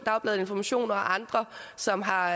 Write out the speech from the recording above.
dagbladet information og andre som har